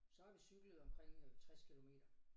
Så har vi cyklet omkring øh 60 kilometer